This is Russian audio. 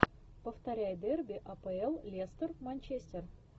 повторяй дерби апл лестер манчестер